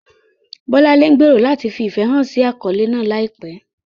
Bolanle gbèrò láti fi ìfẹ́ hàn sí àkọ́lé náà láìpẹ́.